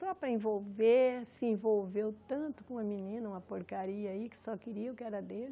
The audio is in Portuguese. Só para envolver, se envolveu tanto com uma menina, uma porcaria aí que só queria o que era dele.